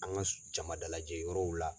An ka jama dalajɛ yɔrɔw la.